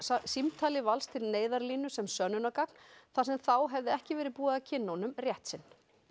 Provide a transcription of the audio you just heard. símtali Vals til Neyðarlínu sem sönnunargagn þar sem þá hefði ekki verið búið að kynna honum rétt sinn